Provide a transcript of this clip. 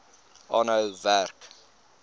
aanhou werk